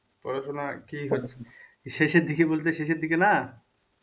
পড়াশুনা কি হচ্ছে শেষের দিকে বলতে শেষের দিকে না?